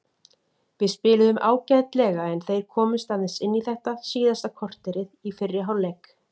Við spiluðum ágætlega en þeir komust aðeins inn í þetta síðasta korterið í fyrri hálfleik.